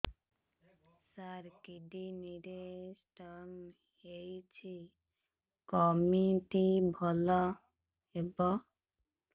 ସାର kidney ରେ stone ହେଇଛି କମିତି ଭଲ ହେବ